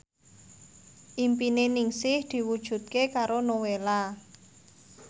impine Ningsih diwujudke karo Nowela